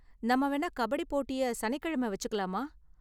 நாம்ம வேணா கபடி போட்டிய சனிக்கெழம வெச்சுக்கலாமா?